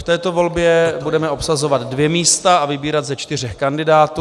V této volbě budeme obsazovat dvě místa a vybírat ze čtyř kandidátů.